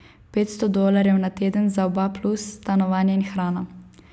Petsto dolarjev na teden za oba plus stanovanje in hrana.